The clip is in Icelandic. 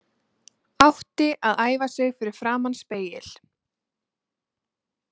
Átti að æfa sig fyrir framan spegil.